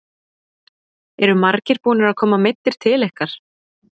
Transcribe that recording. Eru margir búnir að koma meiddir til ykkar?